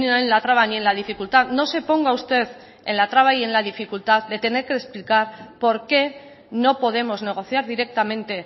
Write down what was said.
en la traba ni en la dificultad no se ponga usted en la traba ni en la dificultad de tener que explicar por qué no podemos negociar directamente